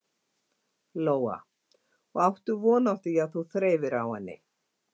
Lóa: Og áttu von á því að þú þreifir á henni?